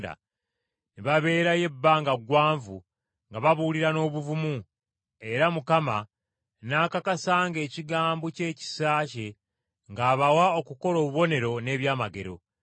Ne baabeerayo ebbanga gwanvu nga babuulira n’obuvumu, era Mukama n’akakasanga ekigambo ky’ekisa kye ng’abawa okukola obubonero n’ebyamagero.